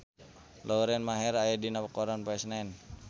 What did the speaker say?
Lauren Maher aya dina koran poe Senen